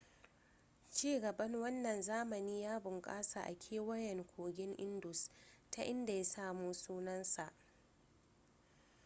ci gaban wannan zamani ya bunkasa a kewayen kogin indus ta inda ya samo sunansa